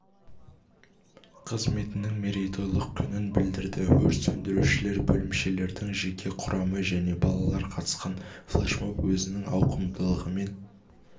қызметінің мерейтойлық күнін білдірді өрт сөндірушілер бөлімшелердің жеке құрамы және балалар қатысқан флешмоб өзінің ауқымдылығымен